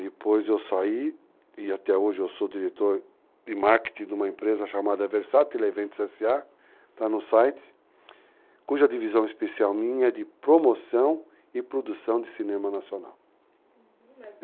Depois eu saí, e até hoje eu sou diretor de marketing de uma empresa chamada Versatile Eventos S.A., está no site, cuja divisão especial minha é de promoção e produção de cinema nacional. Uhum.